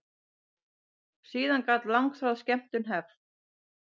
Síðan gat langþráð skemmtun hafist.